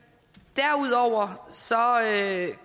derudover